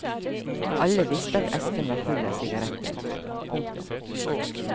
Alle visste at esken var full av sigaretter. punktum